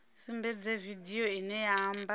sumbedze vidio ine ya amba